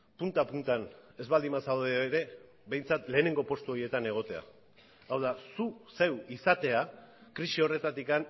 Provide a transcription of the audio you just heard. punta puntan ez baldin bazaude ere behintzat lehenengo postu horietan egotea hau da zu zeu izatea krisi horretatik